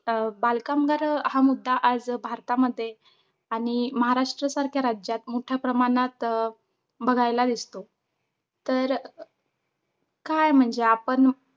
अं बालकामगार हा मुद्दा आज भारतामध्ये आणि महाराष्ट्रसारख्या राज्यात मोठ्या प्रमाणात अं बघायला दिसतो. तर काय म्हणजे आपण